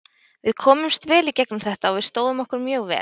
Við komumst vel í gegnum þetta og við stóðum okkur mjög vel.